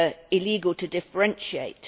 illegal to differentiate.